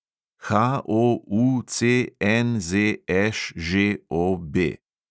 HOUCNZŠŽOB